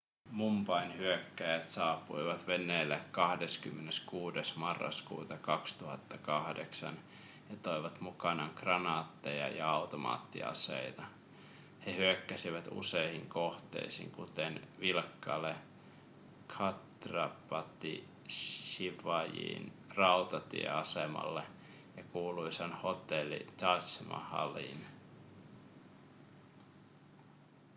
mumbain hyökkääjät saapuivat veneellä 26 marraskuuta 2008 ja toivat mukanaan kranaatteja ja automaattiaseita he hyökkäsivät useihin kohteisiin kuten vilkkaalle chhatrapati shivajin rautatieasemalle ja kuuluisaan hotelli taj mahaliin